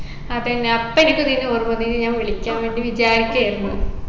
അതെന്നെ അപ്പൊ എനിക്ക് നിന്നെ ഓർമ്മ വന്നു നിന്നെ ഞാൻ വിളിക്കാൻ വേണ്ടി വിചാരിക്കായിരുന്നു